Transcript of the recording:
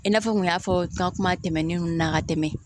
I n'a fɔ n kun y'a fɔ kuma tɛmɛnenw na ka tɛmɛ